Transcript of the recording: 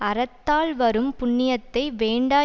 அறத்தால் வரும் புண்ணியத்தை வேண்டா